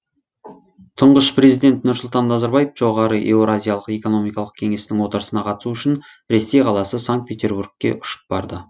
тұңғыш президент нұрсұлтан назарбаев жоғарғы еуразиялық экономикалық кеңестің отырысына қатысу үшін ресей қаласы санкт петербургке ұшып барды